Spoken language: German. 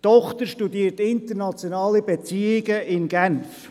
Die Tochter studiert internationale Beziehungen in Genf.